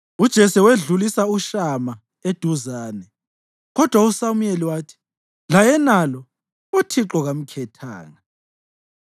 UJese wedlulisa uShama eduzane, kodwa uSamuyeli wathi, “Layenalo uThixo kamkhethanga.”